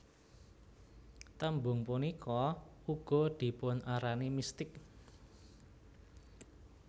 Tembung punika uga dipunarani mistik